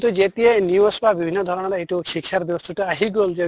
তো যেতিয়া news বা বিভিন্ন ধৰণৰ এইটো শিক্ষাৰ ব্য়ৱস্থাতো আহি গʼল যে